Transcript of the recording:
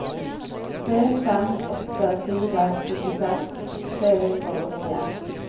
tre fem åtte fire syttiseks tre hundre og åttien